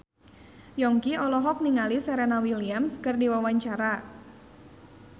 Yongki olohok ningali Serena Williams keur diwawancara